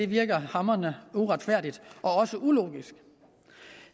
virker hamrende uretfærdigt også ulogisk